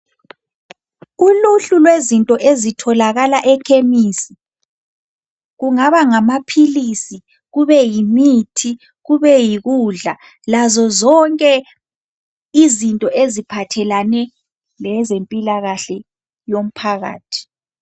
Uluhlu lwezinto ezitholakala ekhemisi, kungaba ngamaphilisi, kube yimithi, kube yikudla. Lazo zonke izinto eziphathelane lezempilakahle yomphakathi.